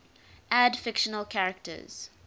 add fictional characters